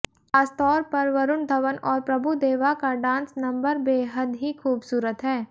खासतौर पर वरुण धवन और प्रभु देवा का डांस नंबर बेहद ही खूबसूरत है